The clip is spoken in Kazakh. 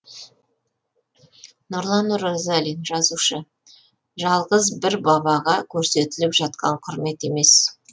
нұрлан оразалин жазушы жалғыз бір бабаға көрсетіліп жатқан құрмет емес